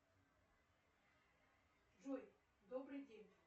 джой добрый день